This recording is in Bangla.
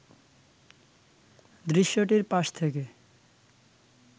দৃশ্যটির পাশ থেকে